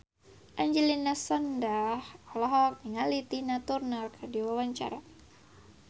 Angelina Sondakh olohok ningali Tina Turner keur diwawancara